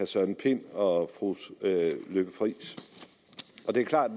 søren pind og fru lykke friis det er klart